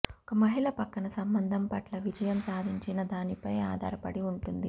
ఒక మహిళ పక్కన సంబంధం పట్ల విజయం సాధించినదానిపై ఆధారపడి ఉంటుంది